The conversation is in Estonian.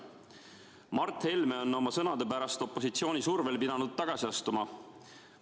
" Mart Helme on oma sõnade pärast opositsiooni survel pidanud tagasi astuma.